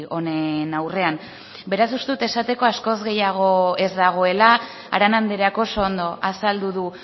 honen aurrean beraz uste dut esateko askoz gehiago ez dagoela arana andreak oso ondo azaldu du